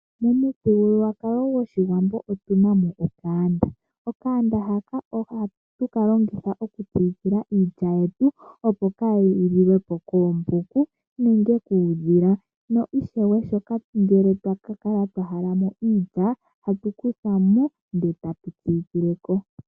Momuthigululwakalo gwOshiwambo otuna mo eshisha. Eshisha ohatu li longitha okusiikilila iilya yetu, opo kaayi liwe po koombuku, nenge kuudhila. Na ishewe ngele twa ka kala twa halamo iilya, ohatu kutha mo eta tu siikileko.